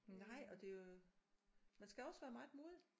Nej og det jo man skal også være meget modig